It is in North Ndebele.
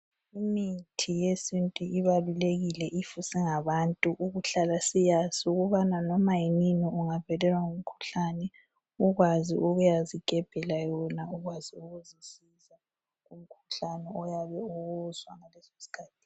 Imithi yesintu ibalulekile if singabantu. Ukuhlala siyazi. Ukubana noma yini, ungavelelwa ngumkhuhlane, . Ukwazi ukuzigebhela yona. ukwazi ukuzisiza kumkhuhlane oyabe uwuzwa.